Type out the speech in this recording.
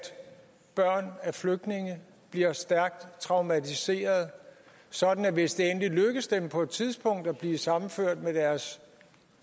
børn af flygtninge bliver stærkt traumatiserede sådan at hvis det endelig lykkes dem på et tidspunkt at blive sammenført med deres